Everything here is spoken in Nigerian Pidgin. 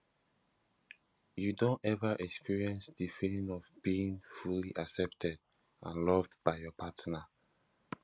you don ever experience di feeling of being fully accepted and loved by your partner